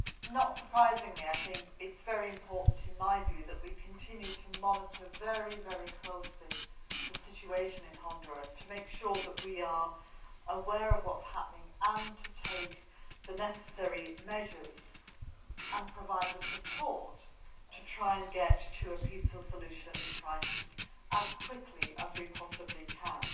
Not surprisingly, it is very important, in my view, that we continue to monitor the situation in Honduras very closely to make sure that we are aware of what is happening and to take the necessary measures and provide the support to try and get to a peaceful solution to this crisis as quickly as we possibly can.